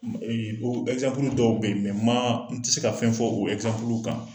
dɔw be yen ma n ti se ka fɛn fɔ o kan.